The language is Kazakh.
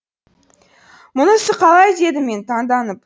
мұнысы қалай дедім мен таңданып